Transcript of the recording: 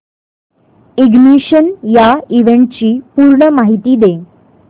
ignition या इव्हेंटची पूर्ण माहिती दे